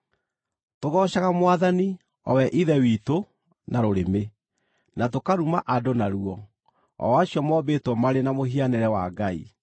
Tũgoocaga Mwathani, o we Ithe witũ, na rũrĩmĩ, na tũkaruma andũ naruo, o acio mombĩtwo marĩ na mũhianĩre wa Ngai.